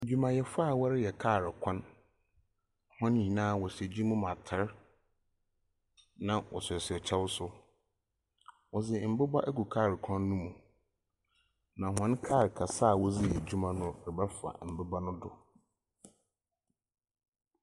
Adwumayɛfoɔ a wɔreyɛ kaa kwan. Wɔn nyinaa wɔhyɛ adwuma mu atare. Na wɔhyehyɛ kyɛw nso. Wɔdze mmoba egu kaa kwan no mu. Na wɔn kaa anksa a wɔde yɛ adwuma no rebɛfa mmoba no do.